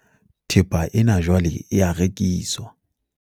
thepa ena jwale e a rekiswa